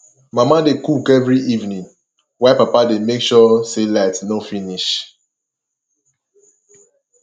mama dey cook every evening while papa dey make sure say light no finish